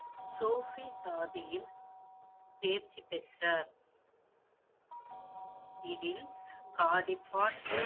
Sophie ஜாதியில், தேர்ச்சி பெற்றார் இதில்